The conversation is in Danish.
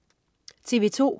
TV2: